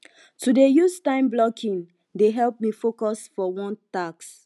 to dey use timeblocking dey help me focus for one task